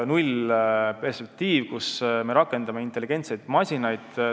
0-perspektiiv, kus me rakendame intelligentseid masinaid.